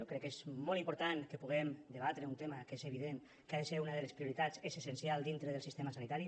jo crec que és molt important que puguem debatre un tema que és evident que ha de ser una de les prioritats és essencial dintre del sistema sanitari